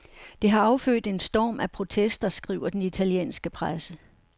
Det har affødt en storm af protester, skriver den italienske presse.